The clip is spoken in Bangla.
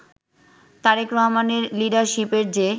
তারেক রহমানের লিডারশিপের যে